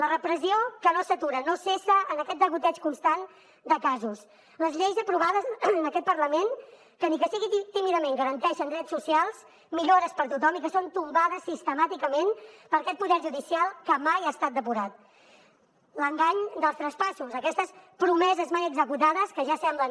la repressió que no s’atura no cessa en aquest degoteig constant de casos les lleis aprovades en aquest parlament que ni que sigui tímidament garanteixen drets socials millores per a tothom i que són tombades sistemàticament per aquest poder judicial que mai ha estat depurat l’engany dels traspassos aquestes promeses mai executades que ja semblen